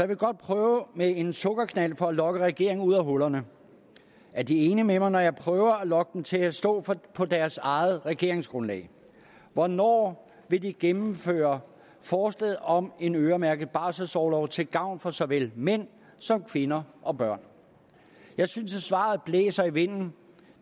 vil godt prøve med en sukkerknald for at lokke regeringen ud af hullerne er de enige med mig når jeg prøver at lokke dem til at stå på deres eget regeringsgrundlag hvornår vil de gennemføre forslaget om en øremærket barselsorlov til gavn for såvel mænd som kvinder og børn jeg synes at svaret blæser i vinden